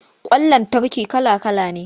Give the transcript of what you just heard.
Ƙwan lantarki kala-kala ne.